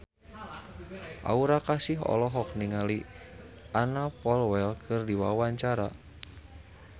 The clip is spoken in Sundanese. Aura Kasih olohok ningali Anna Popplewell keur diwawancara